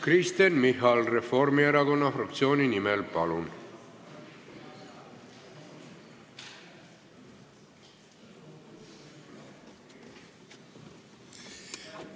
Kristen Michal Reformierakonna fraktsiooni nimel, palun!